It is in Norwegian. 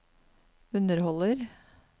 underholder